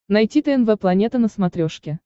найти тнв планета на смотрешке